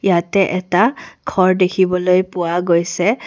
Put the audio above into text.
ইয়াতে এটা ঘৰ দেখিবলৈ পোৱা গৈছে।